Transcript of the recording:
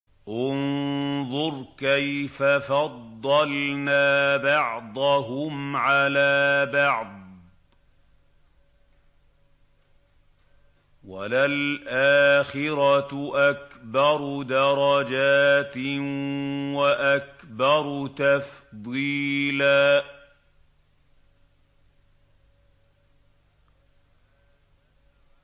انظُرْ كَيْفَ فَضَّلْنَا بَعْضَهُمْ عَلَىٰ بَعْضٍ ۚ وَلَلْآخِرَةُ أَكْبَرُ دَرَجَاتٍ وَأَكْبَرُ تَفْضِيلًا